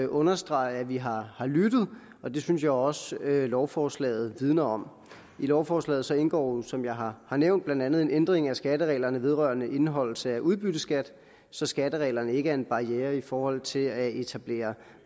understrege at vi har har lyttet og det synes jeg også lovforslaget vidner om i lovforslaget indgår jo som jeg har har nævnt blandt andet en ændring af skattereglerne vedrørende indeholdelse af udbytteskatten så skattereglerne ikke er en barriere i forhold til at etablere